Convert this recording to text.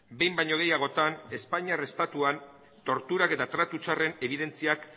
behin baino gehiagotan espainiar estatuan torturak eta tratu txarren ebidentziak